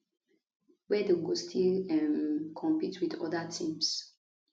wia dem go still um compete with oda teams